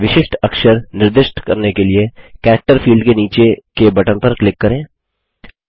एक विशिष्ट अक्षर निर्दिष्ट करने के लिए कैरेक्टर फील्ड के नीचे के बटन पर क्लिक करें